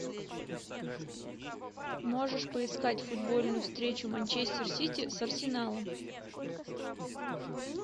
можешь поискать футбольную встречу манчестер сити с арсеналом